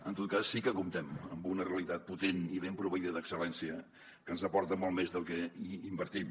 en tot cas sí que comptem amb una realitat potent i ben proveïda d’excel·lència que ens aporta molt més del que hi invertim